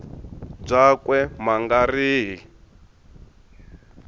byakwe ma nga ri hi